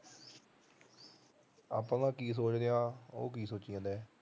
ਆਪਾ ਤਾਂ ਕੀ ਸੋਚਦੇ ਆ ਉਹ ਕੀ ਸੋਚੀ ਜਾਂਦਾ ਐ